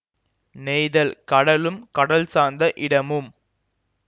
நெய்தல் கடலும் கடல் சார்ந்த இடமும்